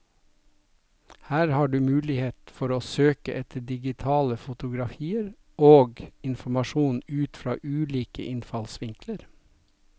Her har du mulighet for å søke etter digitale fotografier og informasjon ut fra ulike innfallsvinkler.